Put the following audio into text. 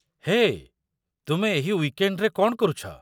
ହେଏ, ତୁମେ ଏହି ୱିକେଣ୍ଡ୍‌ରେ କଣ କରୁଛ?